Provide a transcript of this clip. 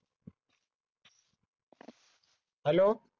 hello